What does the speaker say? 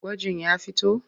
Gwajin ya fito?